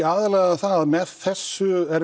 aðallega það að með þessu